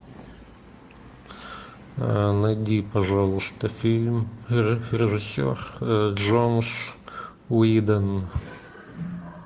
найди пожалуйста фильм режиссер джосс уидон